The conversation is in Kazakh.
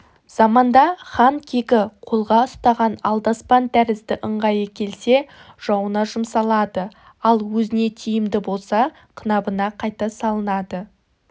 заманда хан кегі қолға ұстаған алдаспан тәрізді ыңғайы келсе жауына жұмсалады ал өзіне тиімді болса қынабына қайта салынады